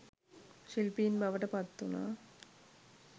ශිල්පීන් බවට පත් වුණා.